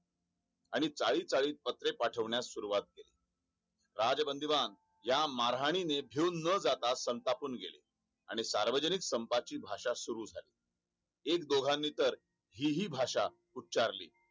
आणि चाळी चाळीत पत्र पाठवणास सुरुवात केली राजबंधूमान या मारहाणीने बिऊन न जाता संतापून गेले आणि सार्वजनिक संपाची भाषा सुरू झाली एकदोघनी तर ही हि भाषा उचारली